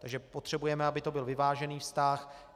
Takže potřebujeme, aby to byl vyvážený vztah.